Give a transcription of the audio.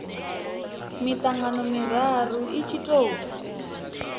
mitangano miraru i tshi tou